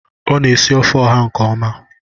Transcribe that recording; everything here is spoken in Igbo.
Ọ na-esi ofe oha nke ọma.